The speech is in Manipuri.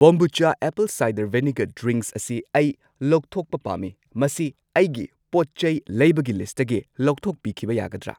ꯕꯣꯝꯕꯨꯆꯥ ꯑꯦꯞꯄꯜ ꯁꯥꯏꯗꯔ ꯚꯤꯅꯦꯒꯔ ꯗ꯭ꯔꯤꯡꯛꯁ ꯑꯁꯤ ꯑꯩ ꯂꯧꯊꯣꯛꯈꯤꯕ ꯄꯥꯝꯃꯤ, ꯃꯁꯤ ꯑꯩꯒꯤ ꯄꯣꯠꯆꯩ ꯂꯩꯕꯒꯤ ꯂꯤꯁꯠꯇꯒꯤ ꯂꯧꯊꯣꯛꯄ ꯌꯥꯒꯗ꯭ꯔꯥ?